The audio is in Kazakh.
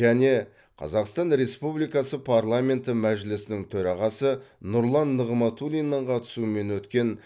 және қазақстан республикасы парламенті мәжілісінің төрағасы нұрлан нығматулиннің қатысуымен өткен